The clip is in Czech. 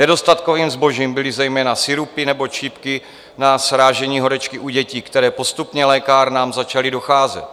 Nedostatkovým zbožím byly zejména sirupy nebo čípky na srážení horečky u dětí, které postupně lékárnám začaly docházet.